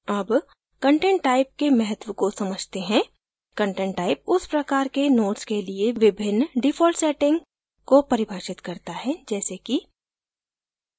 अब content type के महत्व को समझते हैं content type उस प्रकार के nodes के लिए विभिन्न default settings को परिभाषित करता है जैसे कि